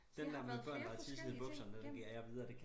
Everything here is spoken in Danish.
Så det har været flere forskellige ting gennem